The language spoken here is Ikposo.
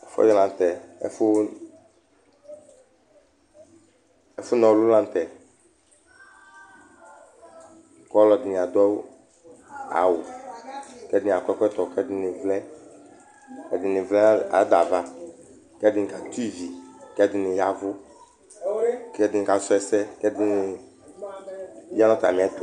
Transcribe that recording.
Ɛfʋnɔlʋ la nʋ tɛ, kʋ ɔlɔdɩnɩ adu awu, kʋ ɛdɩnɩ akɔ ɛkɔtɔ, kʋ ɛdɩnɩ vlɛ, ɛdɩnɩ vlɛ nʋ ada ava, kʋ ɛdɩnɩ kati izi, kʋ ɛdɩnɩ ya ɛvʋ, kʋ ɛdɩnɩ kasu ɛsɛ, kʋ ɛdɩnɩ aya nʋ atami ɛtʋ